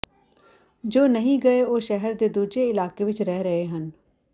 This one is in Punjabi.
ਜੋ ਨਹੀਂ ਗਏ ਉਹ ਸ਼ਹਿਰ ਦੇ ਦੂਜੇ ਇਲਾਕੇ ਵਿੱਚ ਰਹਿ ਰਹੇ ਹਨ